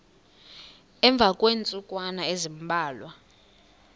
emva kweentsukwana ezimbalwa